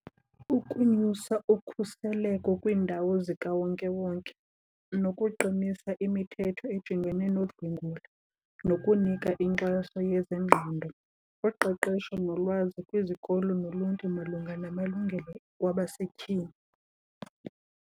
Ukunyusa ukhuseleko kwiindawo zikawonkewonke nokuqinisa imithetho ejongene nodlwengulo nokunika inkxaso yezengqondo, uqeqesho, nolwazi kwizikolo noluntu malunga namalungelo wabasetyhini.